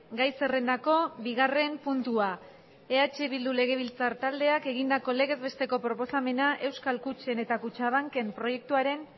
gai zerrendako bigarren puntua eh bildu legebiltzar taldeak egindako legez besteko proposamena euskal kutxen eta kutxabanken proiektuaren